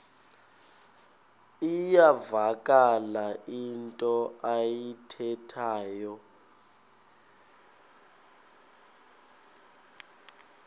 iyavakala into ayithethayo